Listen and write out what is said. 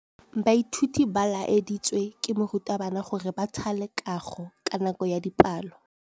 Baithuti ba laeditswe ke morutabana gore ba thale kagô ka nako ya dipalô.